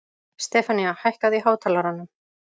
Stefanía, hækkaðu í hátalaranum.